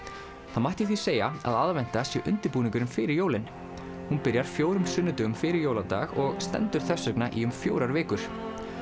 það mætti því segja að aðventa sé undirbúningurinn fyrir jólin hún byrjar fjórum sunnudögum fyrir jóladag og stendur þess vegna í um fjórar vikur